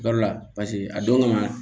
Yɔrɔ la paseke a don kama